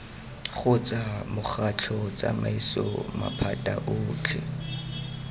kgotsa mokgatlho tsamaiso maphata otlhe